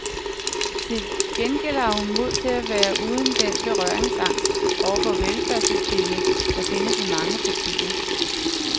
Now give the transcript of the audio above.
Til gengæld har hun mod til at være uden den berøringsangst over for velfærdssystemet, der findes i mange partier.